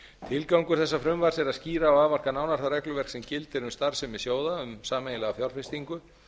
tilgangur þessa frumvarps er að skýra og afmarka nánar það regluverk sem gildir um starfsemi sjóða um sameiginlega fjárfestingu